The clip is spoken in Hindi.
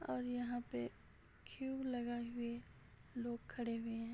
और यहां पे क्यूब लगा हुए लोग खड़े हुए हैं।